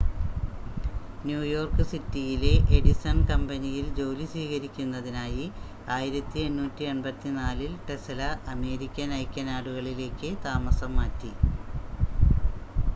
New York സിറ്റിയിലെ Edison കമ്പനിയിൽ ജോലി സ്വീകരിക്കുന്നതിനായി 1884-ൽ ടെസ്‌ല അമേരിക്കൻ ഐക്യനാടുകളിലേക്ക് താമസം മാറ്റി